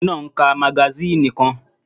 Ọkùnrin náà ń ka magasíìnì kan